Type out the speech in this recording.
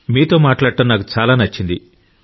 మీతో మాట్లాడడం నాకు చాలా నచ్చింది